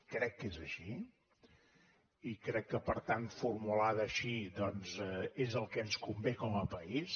crec que és així i crec que per tant formulada així doncs és el que ens convé com a país